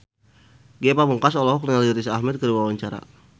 Ge Pamungkas olohok ningali Riz Ahmed keur diwawancara